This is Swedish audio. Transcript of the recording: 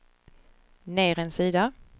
ner en sida